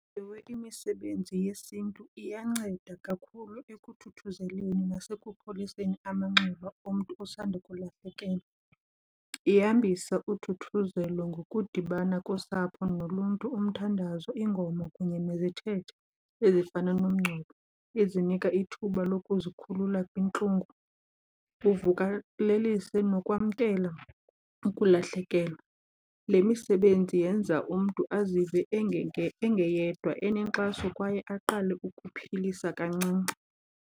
Ewe, imisebenzi yesiNtu iyanceda kakhulu ekuthuthuzeleni nasekupholiseni amanxeba omntu osandukulahlekelwa, ihambise uthuthuzelo ngokudibana kosapho noluntu, umthandazo, iingoma kunye nezithethe ezifana nomngcwabo, ezinika ithuba lokuzikhulula kwintlungu ivukalelise nokwamkela ukulahlekelwa. Le misebenzi yenza umntu azive engeyedwa, enenkxaso kwaye aqale ukuphilisa kancinci.